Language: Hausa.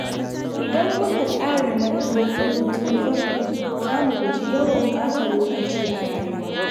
Idan muka tsara manufofinmu tun farko, za mu guji yawan ɓata lokaci a rayuwa.